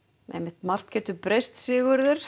margt getur breyst Sigurður